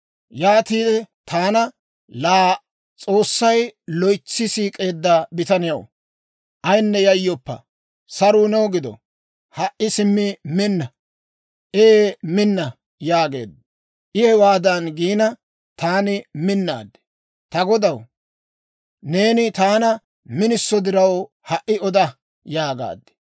Yaatiide taana, «Laa, S'oossay loytsi siik'eedda bitaniyaw, ayinne yayyoppa! Saruu new gido. Ha"i simmi minna; ee minna» yaageedda. I hewaadan giina, taani minnaad; «Ta godaw, neeni taana miniso diraw, ha"i oda» yaagaad.